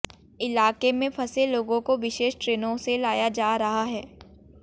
इलाके में फंसे लोगों को विशेष ट्रेनों से लाया जा रहा है